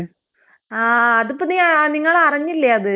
ആഹ് അതിപ്പൊ നീ ഏഹ് നിങ്ങളറിഞ്ഞില്ലേ അത്?